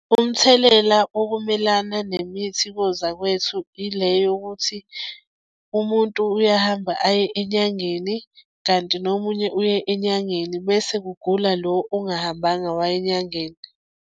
Umthelela okumelana nemithi kozakwethu ile yokuthi umuntu uyahamba aye enyangeni, kanti nomunye uye enyangeni bese kugula lo ongahambanga waya enyangeni.